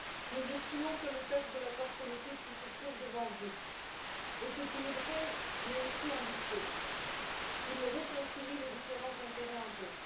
Nous estimons que le texte de l'accord politique qui se trouve devant vous est équilibré mais aussi ambitieux, il réconcilie les différents intérêts en jeu.